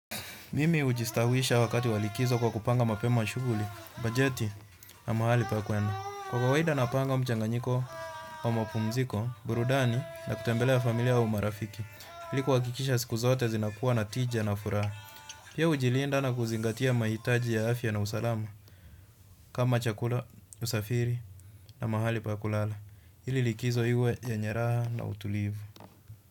Mimi ujistawisha wakati wa likizo kwa kupanga mapema shuguli, bajeti na mahali pa kuenda. Kwa kawaida napanga mchanganyiko wa mapumziko, burudani na kutembelea familia au marafiki ili kuhakikisha siku zote zinakuwa na tija na furaha. Pia ujilinda na kuzingatia mahitaji ya afya na usalama, kama chakula, usafiri na mahali pa kulala. Hili likizo hiwe yenye raha na utulivu.